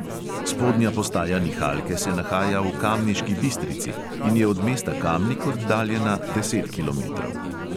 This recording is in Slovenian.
Spodnja postaja nihalke se nahaja v kamniški bistrici in je od mesta kamnik oddaljena deset kilometrov.